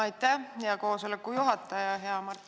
Aitäh, hea koosoleku juhataja!